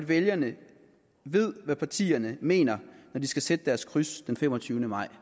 vælgerne ved hvad partierne mener når de skal sætte deres kryds den femogtyvende maj